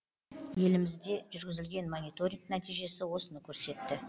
елімізде жүргізілген мониторинг нәтижесі осыны көрсетті